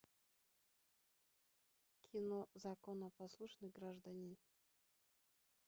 кино законопослушный гражданин